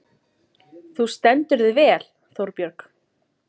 Þú stendur þig vel, Þórbjörg!